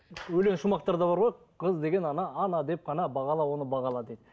өлең шумақтарда бар ғой қыз деген ана ана деп қана бағала оны бағала дейді